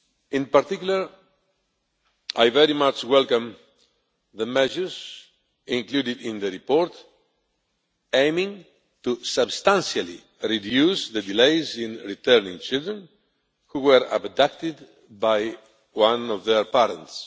In particular, I very much welcome the measures included in the report aiming to substantially reduce delays in returning children who were abducted by one of their parents.